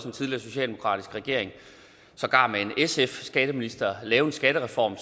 en tidligere socialdemokratisk regering sågar med en sf skatteminister lave en skattereform